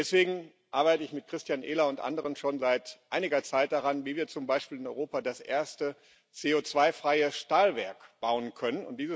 Deswegen arbeite ich mit Christian Ehler und anderen schon seit einiger Zeit daran, wie wir zum Beispiel in Europa das erste CO2 freie Stahlwerk bauen können.